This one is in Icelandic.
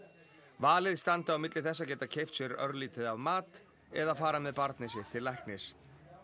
valið standi á milli þess að geta keypt sér örlítið af mat eða fara með barnið sitt til læknis